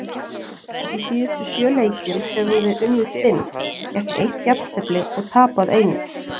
Í síðustu sjö leikjum höfum við unnið fimm, gert eitt jafntefli og tapað einum.